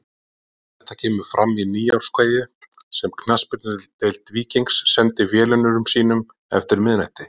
Þetta kemur fram í nýárskveðju sem Knattspyrnudeild Víkings sendi velunnurum sínum eftir miðnætti.